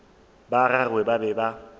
ba gagwe ba be ba